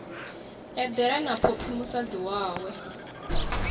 eḓela na phophi musadzi wawe